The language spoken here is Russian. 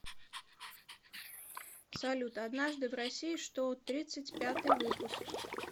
салют однажды в россии что тридцать пятый выпуск